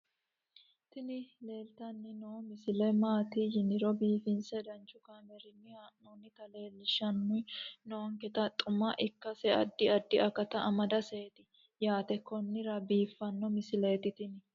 tini leeltanni noo misile maaati yiniro biifinse danchu kaamerinni haa'noonnita leellishshanni nonketi xuma ikkase addi addi akata amadaseeti yaate konnira biiffanno misileeti tini